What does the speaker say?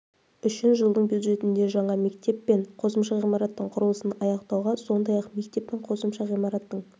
үшін жылдың бюджетінде жаңа мектеп пен қосымша ғимараттың құрылысын аяқтауға сондай-ақ мектеп пен қосымша ғимараттың